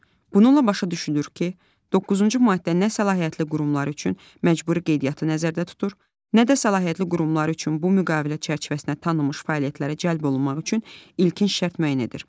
Bununla başa düşülür ki, doqquzuncu maddə nə səlahiyyətli qurumlar üçün məcburi qeydiyyatı nəzərdə tutur, nə də səlahiyyətli qurumlar üçün bu müqavilə çərçivəsində tanınmış fəaliyyətlərə cəlb olunmaq üçün ilkin şərt müəyyən edir.